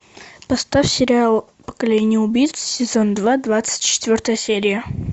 поставь сериал поколение убийц сезон два двадцать четвертая серия